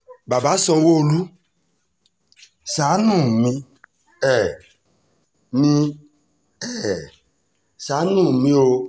bàbá sanwó-olu ṣàánú mi um mi um ṣàánú mi o